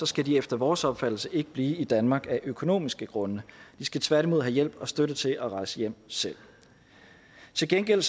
skal de efter vores opfattelse ikke blive i danmark af økonomiske grunde de skal tværtimod have hjælp og støtte til at rejse hjem selv til gengæld